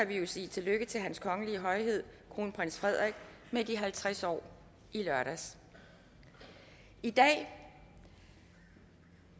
vi jo sige tillykke til hans kongelige højhed kronprins frederik med de halvtreds år i lørdags i dag